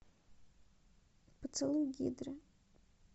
поцелуй гидры